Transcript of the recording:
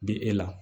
Bi e la